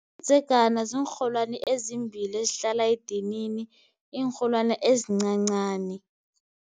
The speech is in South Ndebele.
Umdzegana ziinrholwani ezimbili ezihlala edinini, iinrholwana ezincancani.